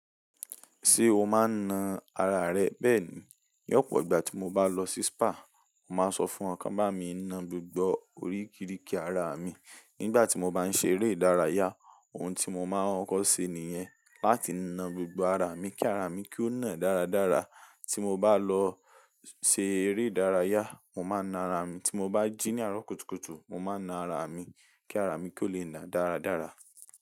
Ṣé o máa ń na ara rẹ bẹ́ẹ̀ ni? Ní ọ̀pọ̀ ìgbà tí mo bá lọ sí spa, mo máa ń sọ fún wọn kí wọ́n bá mi na gbogbo orí kiriki ara mi. Nígbà tí mo bá ń ṣe eré ìdárayá, ohun tí mo máa ń kọ́ ṣe nìyẹn, láti na gbogbo ara mi kí ara mi kó nà dáradára. Tí mo bá lọ ṣe eré ìdárayá, mo máa na ara mi, tí mo bá jí ní àárọ̀ kùtùkùtù, mo máa na ara mi kí ara mi kó lè nà dáradára.